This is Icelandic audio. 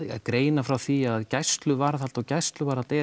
greina frá því að gæsluvarðhald og gæsluvarðhald er